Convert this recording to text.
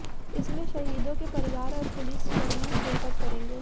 इसमें शहीदों के परिवार और पुलिस कर्मी शिरकत करेंगें